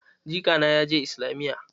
Jika na ya je islamiyya.